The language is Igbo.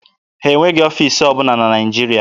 Ha enweghị ọfiisi ọbụla na Naịjirịa.